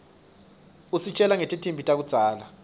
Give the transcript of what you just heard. usitjela nangetimphi takudzala